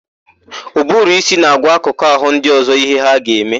Ụbụrụísí na-agwa akụkụ àhụ́ ndị ọ̀zọ́ íhé ha ga-eme.